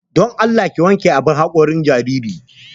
Don Allah ki wanke abun haƙorin jaririn.